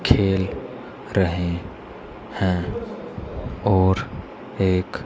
खेल रहे हैं और एक--